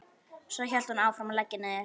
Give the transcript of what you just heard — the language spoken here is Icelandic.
Svo hélt hún áfram að leggja niður.